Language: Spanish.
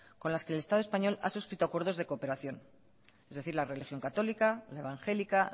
con las que el estado español ha suscrito acuerdos de cooperación es decir la religión católica la evangélica